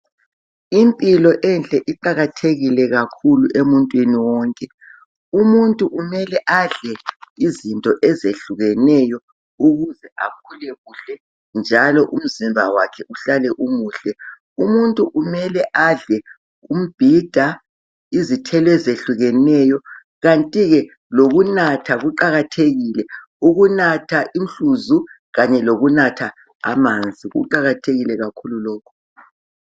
Impilo enhle iqalathekile kakhulu umuntwini wonke. Umuntu kumele adle izinto ezehlukeneyo ukuze akhule kuhle njalo umzimba wakhe uhlale umuhle. Umuntu kumele adle umbhida, izithelo ezehlukeneyo kanti-ke lokunatha kuqakathekile. Ukunatha umhluzi kanye lokunatha amanzi kuqakathekile lokhu.